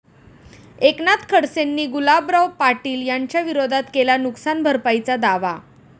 एकनाथ खडसेंनी गुलाबराव पाटील यांच्याविरोधात केला नुकसान भरपाईचा दावा